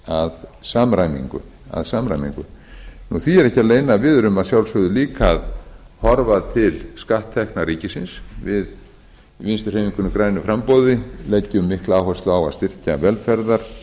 samræmingu því er ekki að leyna að við erum að sjálfsögðu líka að horfa til skatttekna ríkisins við í vinstri hreyfingunni grænu framboði leggjum mikla áherslu